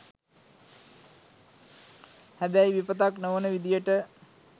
හැබැයි විපතක් නොවන විදියට